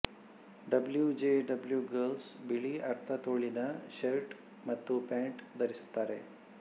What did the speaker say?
W J W girls ಬಿಳಿ ಅರ್ಧ ತೋಳಿನ ಶರ್ಟ್ ಮತ್ತು ಪ್ಯಾಂಟ್ ಧರಿಸುತ್ತಾರೆ